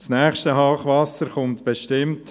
Das nächste Hochwasser kommt bestimmt.